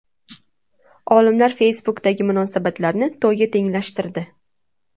Olimlar Facebook’dagi munosabatlarni to‘yga tenglashtirdi.